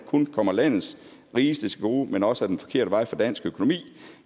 kun kommer landets rigeste til gode men også er den forkerte vej for dansk økonomi